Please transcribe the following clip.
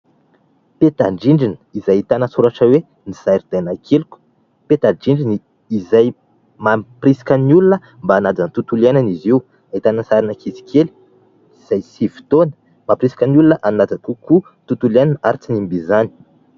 Peta-drindrina izay ahitana soratra hoe : "Ny zaridaina keliko". Peta-drindrina izay mamporisika ny olona mba hanaja ny tontolo iainana izy io. Ahitana ny sarin'ankizy kely izay sivy taona mamporisika ny olona hanaja kokoa ny tontolo iainina ary tsy hanimba izany.